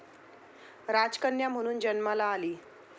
राजकन्या म्हणून जन्माला आली.